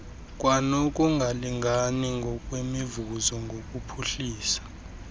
kwanokungalingani ngokwemivuzo ngokuphuhlisa